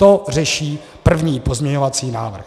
To řeší první pozměňovací návrh.